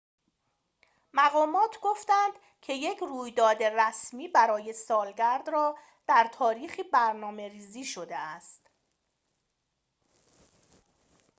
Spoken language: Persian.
مقامات گفتند که یک رویداد رسمی برای سالگرد را در تاریخی برنامه‌ریزی شده است